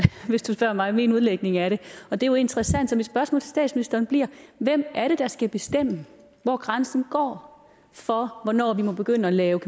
hvis du spørger mig min udlægning af det og det er jo interessant så mit spørgsmål til statsministeren bliver hvem er det der skal bestemme hvor grænsen går for hvornår vi må begynde at lave